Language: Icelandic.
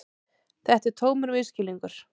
Þetta er tómur misskilningur.